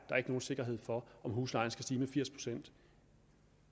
nogen sikkerhed for om huslejen skal stige med firs pct